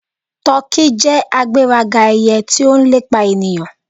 Tọki jẹ agberaga eye ti o lepa eniyan.